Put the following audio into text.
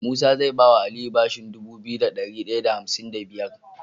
Musa zai bawa aliyu bashin Dubu biyu da dari daya da hamsin da biya